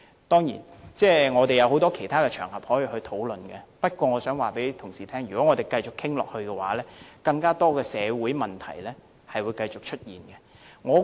當然，我們還有很多其他場合可以進行討論，但我想告訴同事，如果我們繼續討論下去，將繼續有更多社會問題出現。